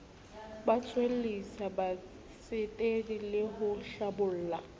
tswellisa batsetedi le ho hlabolla